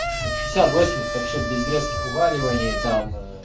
шестьдесят восемьдесят вообще без резких вываливаний там а